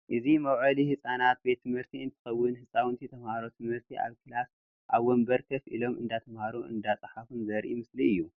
እዚ መውዓሊ ህፃናት ቤት ትምህርቲ እንትከውን ህፃውንቲ ተማሃሮ ትምህርቲ ኣብ ክላስ ኣብ ወንበር ኮፍ ኢሎም እንዳተማሃሩ እንዳፃሓፉን ዘርኢ ምስሊ እዩ